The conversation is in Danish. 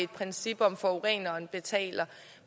princip om at forureneren betaler